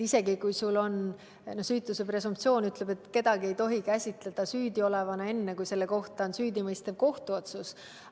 Süütuse presumptsioon ütleb, et kedagi ei tohi käsitleda süüdiolevana enne, kui selle kohta on tehtud süüdimõistev kohtuotsus.